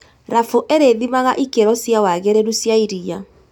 Rabu irĩthimaga ikĩro cia wagĩrĩru cia iria